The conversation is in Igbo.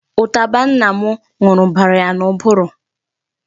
Ụtaba nna m ṅụrụ bara ya n'ụbụrụ.